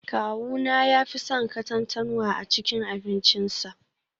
Kawuna ya fi son katantanwa a cikin abincinsa